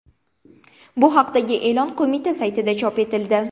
Bu haqdagi e’lon qo‘mita saytida chop etildi .